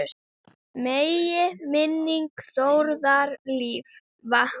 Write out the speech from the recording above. Megi minning Þórðar lifa.